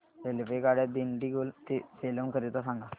रेल्वेगाड्या दिंडीगुल ते सेलम करीता सांगा